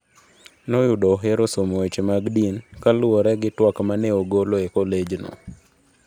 Noyudo ohero somo weche din, kaluwore gi twak ma ne ogolo adekiegni e kolejno.